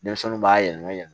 Denmisɛnninw b'a yɛlɛma yɛlɛma